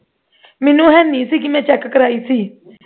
ਮੈਨੂੰ ਹੈ ਨਹੀਂ ਸੀ ਤੇ ਮੈਂ check ਕਰਵਾਈ ਸੀ